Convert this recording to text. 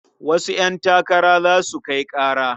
Wasu ƴantakara za su kai ƙara.